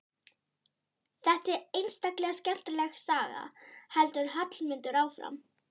Þetta er einstaklega skemmtileg saga, heldur Hallmundur áfram.